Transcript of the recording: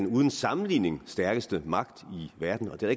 uden sammenligning er stærkeste magt i verden og det har